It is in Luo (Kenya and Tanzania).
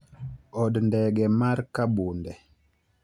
Od ndege mar Kabunde.